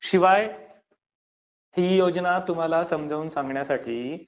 शिवाय ही योजना तुम्हाला समजावून सांगण्यासाठी